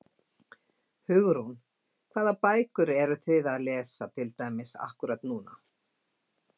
Hugrún: Hvaða bækur eruð þið að lesa til dæmis akkúrat núna?